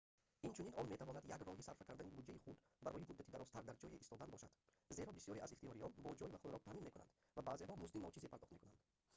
инчунин он метавонад як роҳи сарфа кардани буҷаи худ барои муддати дарозтар дар ҷое истодан бошад зеро бисёре аз ихтиёриён бо ҷой ва хӯрок таъмин мекунанд ва баъзеҳо музди ночизе пардохт мекунанд